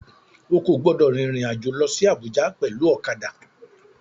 O kò gbúdọ̀ rin ìrìn àjò lọsí Abùjá pẹ̀lú ọ̀kadà.